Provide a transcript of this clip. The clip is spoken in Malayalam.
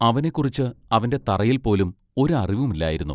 അവനെ കുറിച്ച് അവന്റെ തറയിൽ പോലും ഒരു അറിവും ഇല്ലായിരുന്നു.